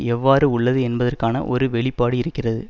எவ்வாறு உள்ளது என்பதற்கான ஒரு வெளிப்பாடு இருக்கிறது